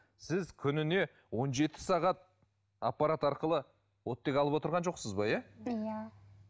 сіз күніне он жеті сағат аппарат арқылы оттегі алып отырған жоқсыз ба иә иә